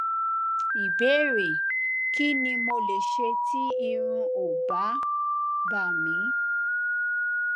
ìbéèrè kí ni mo lè ṣe tí irun ò bá bà mí